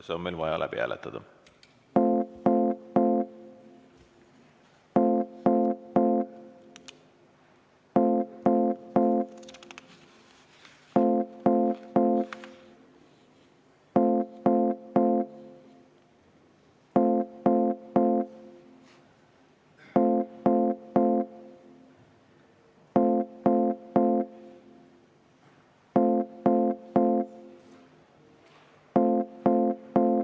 See on meil vaja läbi hääletada.